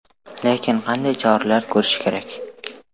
Lekin qanday choralar ko‘rish kerak?